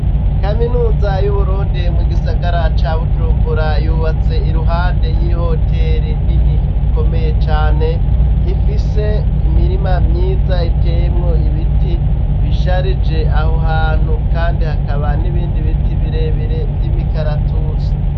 Kaminuza y'Uburundi, mu gisagara ca Bujumbura, yubatse iruhande y'ihoteri nini ikomeye cane, ifise imirima myiza iteyemwo ibiti bisharije aho hantu kandi hakaba n'ibindi biti birebire vy'imikaratusi.